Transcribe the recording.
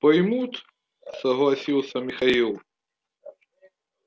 поймут согласился михаил